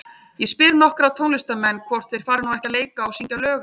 Ég spyr nokkra tónlistarmenn, hvort þeir fari nú ekki að leika og syngja lög eftir